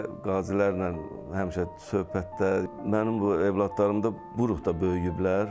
Həyətdə qazilərlə həmişə söhbətdə, mənim bu övladlarım da bu ruhda böyüyüblər.